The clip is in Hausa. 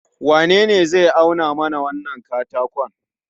wanene zai auna mana wannan katakon?